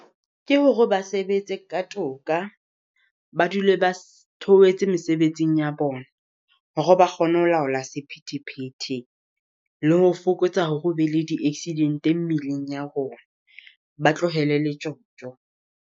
Ke hore ba sebetse ka toka. Ba dule ba theohetse mesebetsing ya bona. Hore ba kgone ho laola sephethephethe, le ho fokotsa hore o be le di accidente mmileng ya rona. Ba tlohele le tjotjo.